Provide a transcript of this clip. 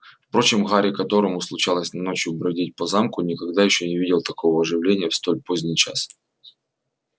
впрочем гарри которому случалось ночью бродить по замку никогда ещё не видел такого оживления в столь поздний час